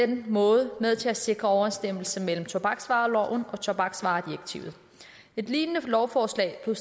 den måde med til at sikre overensstemmelse mellem tobaksvareloven og tobaksvaredirektivet et lignende lovforslag blev